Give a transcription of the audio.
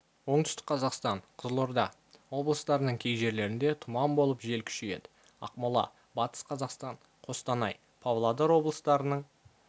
оңтүстік қазақстан қызылорда облыстарының кей жерлерінде тұман болып жел күшейеді ақмола батыс қазақстан қостанай павлодар облыстарының